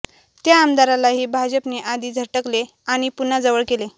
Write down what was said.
त्या आमदारालाही भाजपने आधी झटकले आणि पुन्हा जवळ केले